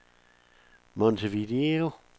Montevideo